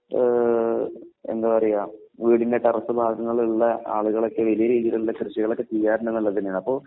ഏഹ് എന്താ പറയുക വീടിൻറെ ടെറസ് ഭാഗങ്ങളുള്ള ആളുകളൊക്കെ വലിയ രീതിയിലുള്ള കൃഷികളൊക്കെ ചെയ്യാറുണ്ടെന്നുള്ളത് തന്നെയാണ്.